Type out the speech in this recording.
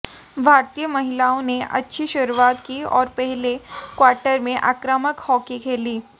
भारतीय महिलाओं ने अच्छी शुरुआत की और पहले क्वार्टर में आक्रामक हॉकी खेली